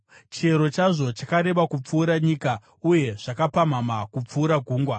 Chiero chazvo chakareba kupfuura nyika uye zvakapamhama kupfuura gungwa.